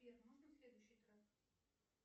сбер можно следующий трек